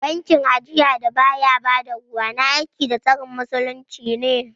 Bankin ajiya da baya ba da ruwa, na aiki da tsarin Musulunci ne